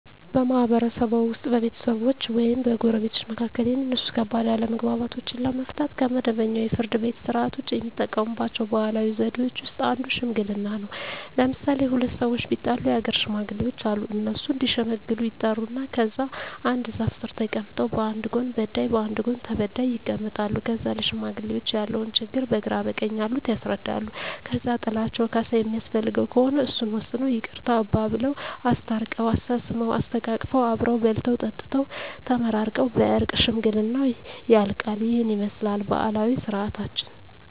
በማህበረሰብዎ ውስጥ በቤተሰቦች ወይም በጎረቤቶች መካከል የሚነሱ ከባድ አለመግባባቶችን ለመፍታት (ከመደበኛው የፍርድ ቤት ሥርዓት ውጪ) የሚጠቀሙባቸው ባህላዊ ዘዴዎች ውስጥ አንዱ ሽምግልና ነው። ለምሣሌ፦ ሁለት ሠዎች ቢጣሉ የአገር ሽማግሌዎች አሉ። እነሱ እዲሸመግሉ ይጠሩና ከዛ አንድ ዛፍ ስር ተቀምጠው በአንድ ጎን በዳይ በአንድ ጎን ተበዳይ ይቀመጣሉ። ከዛ ለሽማግሌዎች ያለውን ችግር በግራ በቀኝ ያሉት ያስረዳሉ። ከዛ ጥላቸው ካሣ የሚያስፈልገው ከሆነ እሱን ወስነው ይቅርታ አባብለው። አስታርቀው፤ አሳስመው፤ አሰተቃቅፈው አብረው በልተው ጠጥተው ተመራርቀው በእርቅ ሽምግልናው ያልቃ። ይህንን ይመስላል ባህላዊ ስርዓታችን።